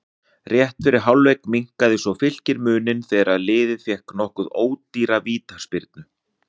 Rétt fyrir hálfleik minnkaði svo Fylkir muninn þegar liðið fékk nokkuð ódýra vítaspyrnu.